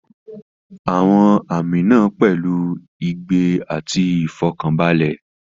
Àwọn àmì náà pẹ̀lú ìgbẹ́ àti ìfọ̀kànbalẹ̀.